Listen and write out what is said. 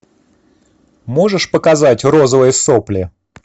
можешь показать розовые сопли